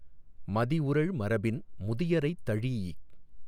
மதிஉறழ் மரபின் முதியரைத் தழீஇக்